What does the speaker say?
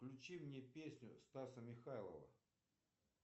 включи мне песню стаса михайлова